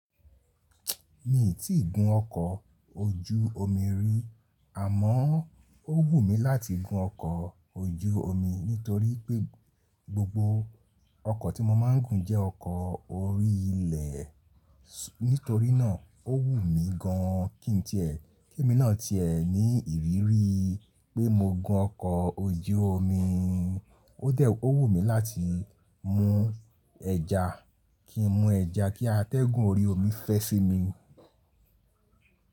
Mi i tí ì gun ọkọ̀ ojú omi rí àmọ́ ó wù mí láti gun ọkọ̀ ojú omi nítorí pé gbogbo ọkọ̀ tí mo máa ń gùn jẹ́ ọkọ̀ orí ilẹ̀. Nítorínà ó wù mí gan kí n ti ẹ kí mi náà ti ẹ ní ìrírí pé mo gun ọkọ̀ ojú omi. Ó dẹ̀ ó wù mí láti mú ẹja, kí n mu ẹja kí atẹ́gùn orí omi fẹ́ sí mi.